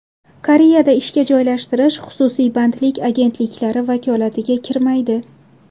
Koreyada ishga joylashtirish xususiy bandlik agentliklari vakolatiga kirmaydi.